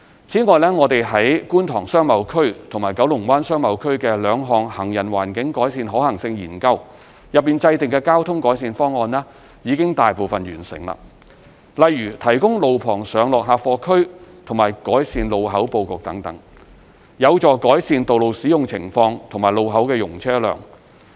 此外，我們在觀塘商貿區和九龍灣商貿區的兩項行人環境改善可行性研究中制訂的交通改善方案已大部分完成，例如提供路旁上落客貨區和改善路口布局等，有助改善道路使用情況和路口容車量。